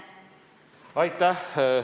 Aitäh!